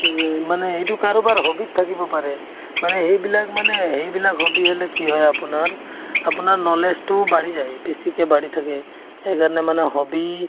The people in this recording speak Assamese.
উম, মানে এইটো কাৰোবাৰ hobby ত থাকিব পাৰে মানে সেইবিলাক মানে সেইবিলাক hobby হ'লে কি হয় আপোনাৰ আপোনাৰ knowledge তোও বাঢ়ি যায় বেছিকে বাঢ়ি থাকে সেইকাৰণে মানে hobby